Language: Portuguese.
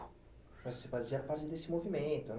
Mas você fazia parte desse movimento, né?